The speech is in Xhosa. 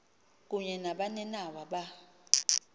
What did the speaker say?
kunye nabaninawa ba